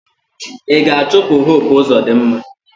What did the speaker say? Ị ga-achụpụ Hope Uzodinma!